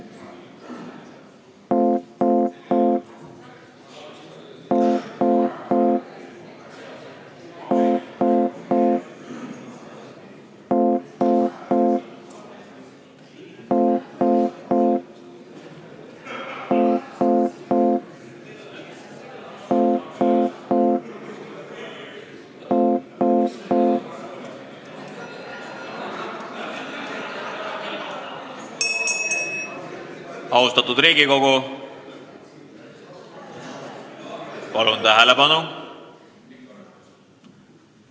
Austatud Riigikogu, palun tähelepanu!